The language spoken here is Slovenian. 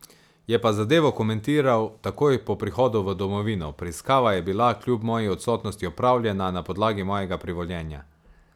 Je pa zadevo komentiral takoj po prihodu v domovino: 'Preiskava je bila kljub moji odsotnosti opravljena na podlagi mojega privoljenja.